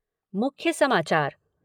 मुख्य समाचार